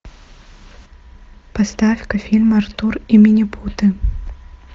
поставь ка фильм артур и минипуты